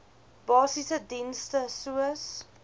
basiese dienste soos